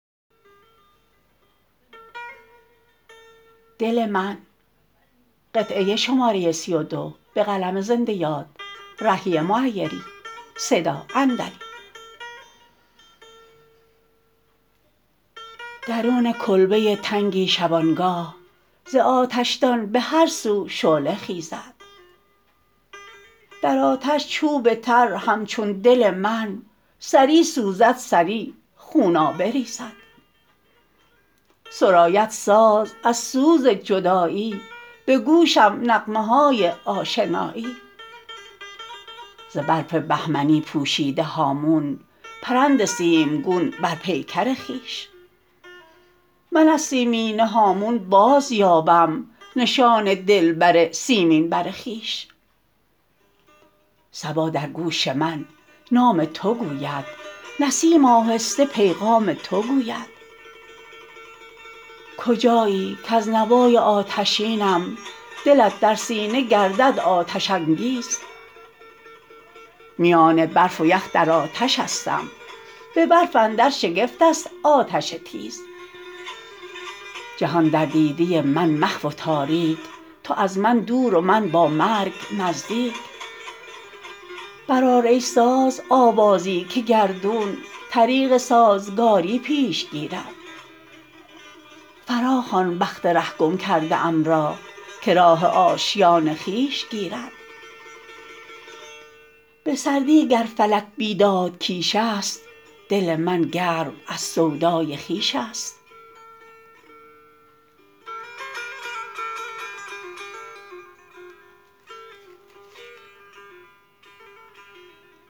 درون کلبه تنگی شبانگاه ز آتشدان به هرسو شعله خیزد در آتش چوب تر همچون دل من سری سوزد سری خونابه ریزد سراید ساز از سوز جدایی به گوشم نغمه های آشنایی ز برف بهمنی پوشیده هامون پرند سیمگون بر پیکر خویش من از سیمینه هامون باز یابم نشان دلبر سیمین بر خویش صبا در گوش من نام تو گوید نسیم آهسته پیغام تو گوید کجایی کز نوای آتشینم دلت در سینه گردد آتش انگیز میان برف و یخ در آتشستم به برف اندر شگفت است آتش تیز جهان در دیده من محو و تاریک تو از من دور و من با مرگ نزدیک برآر ای ساز آوازی که گردون طریق سازگاری پیش گیرد فراخوان بخت ره گم کرده ام را که راه آشیان خویش گیرد به سردی گر فلک بیداد کیش است دل من گرم از سودای خویش است